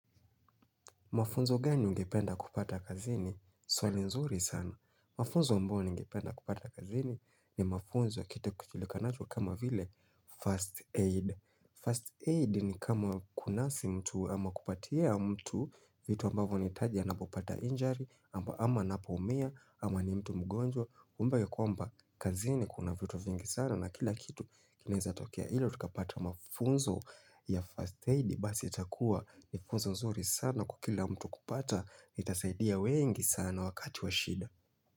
Mafunzo gani ungependa kupata kazini? Swali nzuri sana. Mafunzo ambao ningependa kupata kazini ni mafunzo kita kutilika nacho kama vile first aid. First aid ni kama kunasi mtu ama kupatia mtu vitu ambavo nitajia na bupata injury, ama na poumia, ama ni mtu mgonjwa. Kumbuka yu kwa mba kazini kuna vitu vingi sana na kila kitu kinaweza tokea ilo. Tukapata mafunzo ya first aid Basi ya itakua ni funzo nzuri sana kukila mtu kupata Nitasaidia wengi sana wakati wa shida.